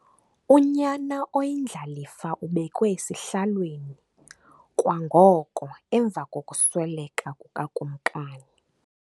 Unyana oyindlalifa ubekwe esihlalweni kwangoko emva kokusweleka kukakumkani.